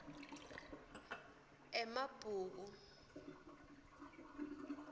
emabhuku